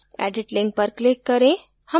edit link पर click करें